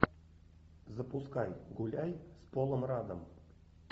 запускай гуляй с полом раддом